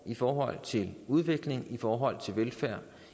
i forhold til udviklingen i forhold til velfærd